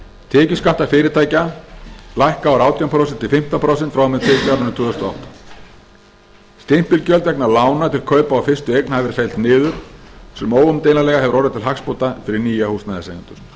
tekjuskattar fyrirtækja lækka úr átján prósent í fimmtán prósent frá og með tekjuárinu tvö þúsund og átta stimpilgjöld vegna lána til kaupa á fyrstu fasteign hafa verið felld niður sem óumdeilanlega hefur orðið til hagsbóta fyrir nýja húsnæðiseigendur miðað